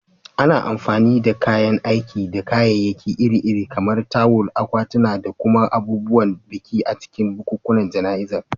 Ana amfani da kayan aiki da kayayyaki iri-iri, kamar tawul, akwatuna, da kuma abubuwan biki, a cikin bukukuwan jana'izar.